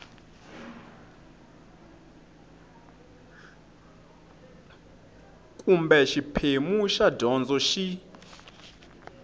kumbe xiphemu xa gondzo xi